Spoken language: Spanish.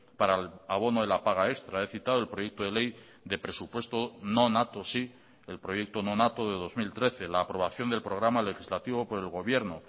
para el abono de la paga extra he citado el proyecto de ley de presupuesto nonato sí el proyecto nonato de dos mil trece la aprobación del programa legislativo por el gobierno